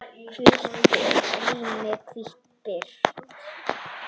Hvítt rými, hvít birta.